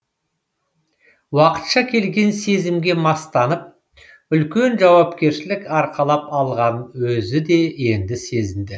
уақытша келген сезімге мастанып үлкен жауапкершілік арқалап алғанын өзі енді сезінді